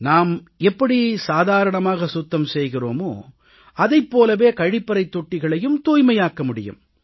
நாம் எப்படி சாதாரணமாக சுத்தம் செய்கிறோமோ அதைப் போலவே கழிப்பறைத் தொட்டிகளையும் தூய்மையாக்க முடியும்